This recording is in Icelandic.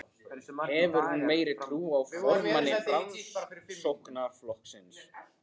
Hefur hún meiri trú á formanni Framsóknarflokksins?